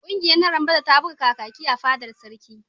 Ƙungiyar narambada ta buga Kakaki a fadar sarki.